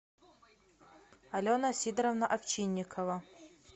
алена сидоровна овчинникова